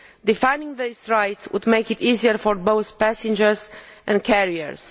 Defining these rights would make it easier for both passengers and carriers.